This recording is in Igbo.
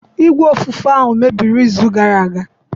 Igwe ofufe ahụ mebiri izu gara aga.